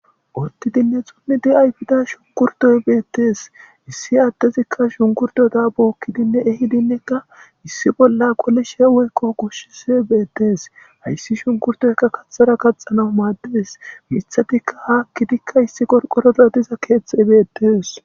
Uttidinne xummi di7ayfida shunkurtoy beettees issi addezikka shunkurdoda bookkidinne ehidinnekka issi bolla qole sheweykko kushshis beettes hayssi shunkurtoyka kaxthara kaxana maadies mithatikka haakkidikka issi gorqoroda diza keeththeebeettees.